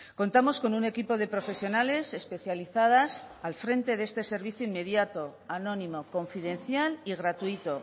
contamos con un equipo de profesionales especializadas al frente de este servicio inmediato anónimo confidencial y gratuito